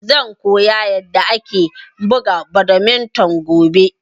Zan koya yanda ake buga badminton gobe